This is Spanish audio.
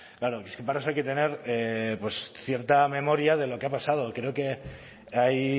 claro es que para eso hay que tener pues cierta memoria de lo que ha pasado creo que hay